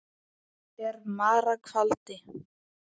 er mara kvaldi.